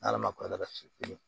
N'ala ma kɔrɔbasi kelen